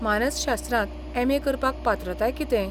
मानसशास्त्रांत एम.ए. करपाक पात्रताय कितें?